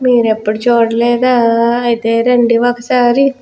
మీరు ఎప్పుడు చూడలేదా అయితే రండి ఒకసారి.